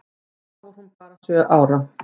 Þá var hún bara sjö ára.